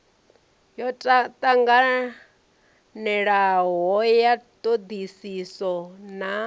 yo tanganelanaho ya thodisiso na